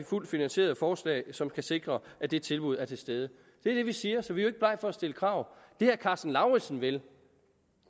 fuldt finansierede forslag som kan sikre at det tilbud er til stede det er det vi siger så vi er ikke blege for at stille krav det herre karsten lauritzen vil